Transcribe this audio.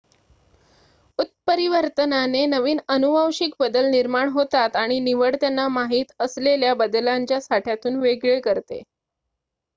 उत्परीवर्तनाने नवीन अनुवांशिक बदल निर्माण होतात आणि निवड त्यांना माहित असलेल्या बदलांच्या साठ्यातून वेगळे करते